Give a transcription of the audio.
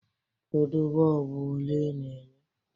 Kedu bọlbụ ole ị na-enye?